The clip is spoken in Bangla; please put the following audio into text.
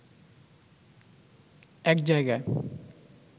এক জায়গায়